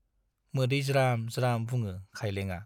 मोदै ज्राम-ज्राम बुङो खाइलेंआ।